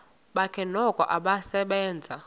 bakhe noko usasebenza